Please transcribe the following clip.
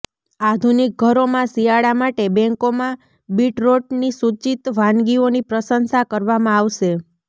આધુનિક ઘરોમાં શિયાળા માટે બેન્કોમાં બીટરોટની સૂચિત વાનગીઓની પ્રશંસા કરવામાં આવશે